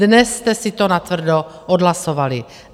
Dnes jste si to natvrdo odhlasovali.